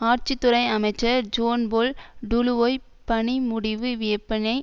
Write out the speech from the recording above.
ஆட்சித்துறை அமைச்சர் ஜோன்போல் டுலுவோய் பணி முடிவு வியப்பினை